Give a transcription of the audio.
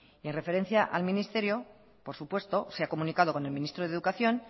mi referencia al ministerio por supuesto se ha comunicado con el ministro de educación